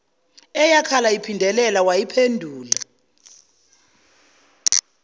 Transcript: eyakhala iphindelela wayiphendula